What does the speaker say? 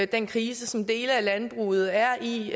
den krise som dele af landbruget er i